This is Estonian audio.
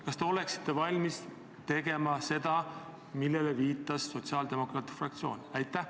Kas te oleksite valmis tegema seda, mida soovib sotsiaaldemokraatide fraktsioon?